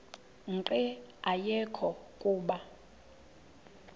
nqe ayekho kuba